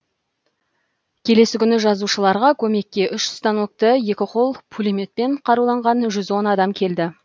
келесі күні жазушыларға көмекке үш станокты екі қол пулеметпен қаруланған жүз он адам келді